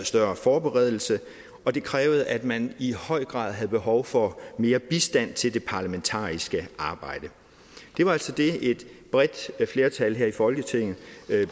større forberedelse og det krævede at man i høj grad havde behov for mere bistand til det parlamentariske arbejde det var altså det et bredt flertal her i folketinget